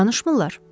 Danışmırlar?